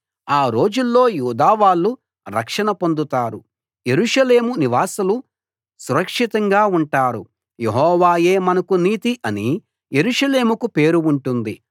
ఆ రోజుల్లో యూదా వాళ్ళు రక్షణ పొందుతారు యెరూషలేము నివాసులు సురక్షితంగా ఉంటారు యెహోవాయే మనకు నీతి అని యెరూషలేముకు పేరు ఉంటుంది